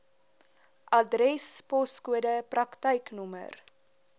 adres poskode praktyknommer